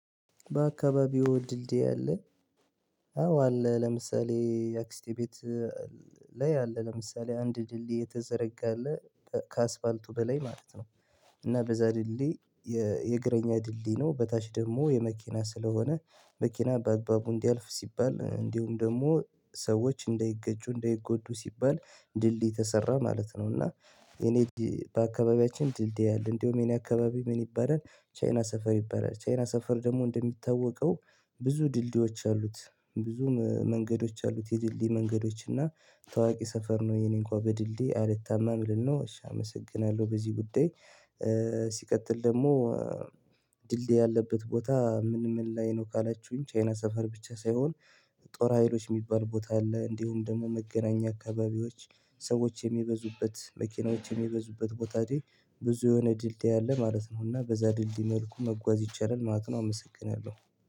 በአካባቢው ድልድይ አለ አዎ አለ ለምሳሌ የአክስቴ ቤት ላይ አለ ለምሳሌ አንድ ድሌድይ የተሰረገ አለ ከአስፋልቱ በላይ ማለት ነው። እና በዛ ድሌ የእግረኛ ድሌ ነው በታች ደግሞ የመኪና ስለሆነ መኪና በአግባቡ እንዲያልፍ ሲባል እንዲሁም ደግሞ ሰዎች እንደይገጩ እንደይጎዱ ሲባል ድልድይ ተሰራ ማለት ነው። እና እኔ በአካባቢያችን ድልድይ አለ እንደውም የኔ አካባቢ ምን ይባላል ቻይና ሰፈር ይባላል። ቻይና ሰፈር ደግሞ እንደሚታወቀው ብዙ ድልድዮች አሉት ብዙ መንገዶች አሉት የድልድይ መንገዶች እና ታዋቂ ሰፈር ነው። የኔ እንኳን በድልዴ አልታማም ልል ነው። እሺ አመሰግናለሁ። በዚህ ጉዳይ ሲቀጥል ደግሞ ድልድይ ያለበት ቦታ ምን ምን ላይ ነው? ካላችሁኝ ቻይና ሰፈር ብቻ ሳይሆን ጦር ሀይሎች የሚባል ቦታ አለ እንዲሁም ደግሞ መገናኛ አካባቢዎች ሰዎች የሚበዙበት መኪናዎች የሚበዙበት ቦታዬ ብዙ የሆነ ድልድይ አለ ማለት ነው። እና በዛ ድልድይ መልኩ መጓዝ ይቻላል ማጥናው አመሰግናለሁ።